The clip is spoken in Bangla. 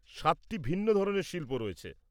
-সাতটি ভিন্ন ধরনের শিল্প রয়েছে।